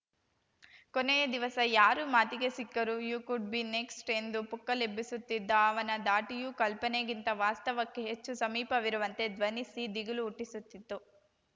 ಕೊನೆಯ ದಿವಸ ಯಾರು ಮಾತಿಗೆ ಸಿಕ್ಕರೂ ಯೂ ಕುಡ್‌ ಬಿ ನೆಕ್ಸ್ಟ್ ಎಂದು ಪುಕ್ಕಲೆಬ್ಬಿಸುತ್ತಿದ್ದ ಅವನ ಧಾಟಿಯು ಕಲ್ಪನೆಗಿಂತ ವಾಸ್ತವಕ್ಕೆ ಹೆಚ್ಚು ಸಮೀಪವಿರುವಂತೆ ಧ್ವನಿಸಿ ದಿಗಿಲು ಹುಟ್ಟಿಸುತ್ತಿತ್ತು